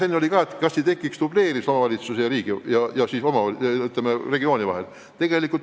Enne tekkis ka küsimus, kas ei tekiks dubleerimist omavalitsuse ja riigi või edaspidi siis regiooni ülesannete täitmisel.